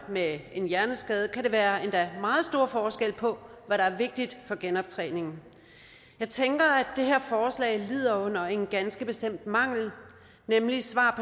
med en hjerneskade kan der være endda meget store forskelle på hvad der er vigtigt for genoptræningen jeg tænker at det her forslag lider under en ganske bestemt mangel nemlig svar